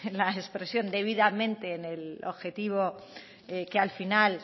la expresión debidamente en el objetivo que al final